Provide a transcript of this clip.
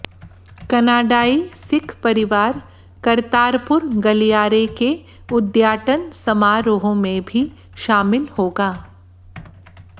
कनाडाई सिख परिवार करतारपुर गलियारे के उद्घाटन समारोह में भी शामिल होगा